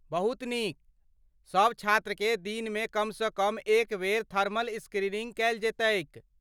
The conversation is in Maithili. बहुत नीक! सभ छात्रकेँ दिनमे कमसँ कम एक बेर थर्मल स्क्रीनिंग कयल जयतैक ।